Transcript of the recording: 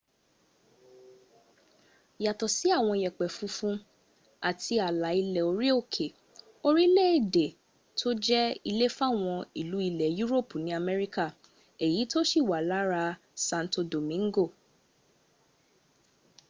yàtọ̀ sí àwọn yẹ̀pẹ̀ funfun àti àlà ilẹ̀ orí òkè orílẹ̀èdè ló jẹ́ ilé fáwọn ìlú ilẹ̀ yúròpù ní america èyí tó ti wà lára santo domingo